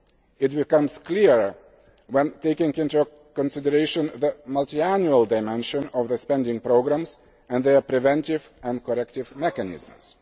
fraud. This becomes clearer when taking into consideration the multiannual dimension of the spending programmes and their preventive and corrective mechanisms.